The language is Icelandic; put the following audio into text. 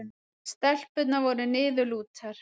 Stelpurnar voru niðurlútar.